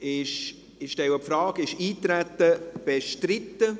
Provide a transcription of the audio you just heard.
Ich stelle die Frage: Ist das Eintreten bestritten?